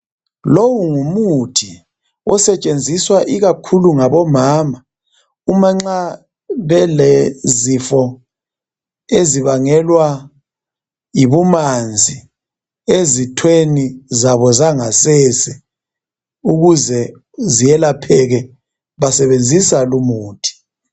Lowu ngumuthi osetshenziswa ikakhulu ngabomama uma nxa belezifo ezibangelwa yibumanzi ezithweni zabo zangasese ukuze zelapheke basebenzisa lumuthi.